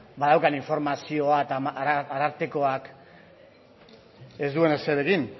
badaukan informazioa eta arartekoak ez duen ezer egin